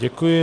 Děkuji.